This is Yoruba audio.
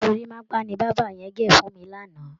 Gorímápá ni bàbá yẹn gẹ̀ fún mi lánàá